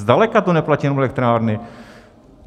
Zdaleka to neplatí jenom elektrárny.